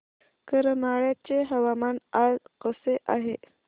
करमाळ्याचे हवामान आज कसे आहे